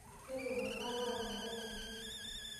Mikikurr oltung'anak olchore lai.